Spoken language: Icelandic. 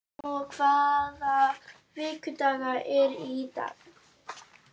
Rómeó, hvaða vikudagur er í dag?